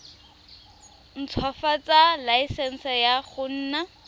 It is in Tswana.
ntshwafatsa laesense ya go nna